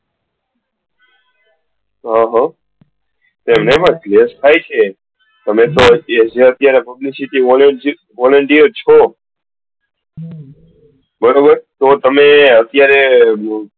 હમ તમે તો હજી અત્યારે publicity volunteer છો તો તમે અત્યારે